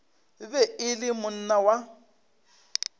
be e le monna wa